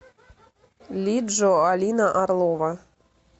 лиджо алина орлова